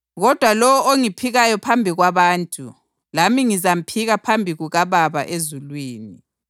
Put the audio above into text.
Kodwa lowo ongiphikayo phambi kwabantu lami ngizamphika phambi kukaBaba ezulwini.